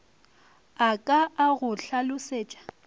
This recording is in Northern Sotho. a ka a go hlalosetša